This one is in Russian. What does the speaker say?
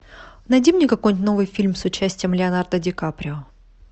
найди мне какой нибудь новый фильм с участием леонардо ди каприо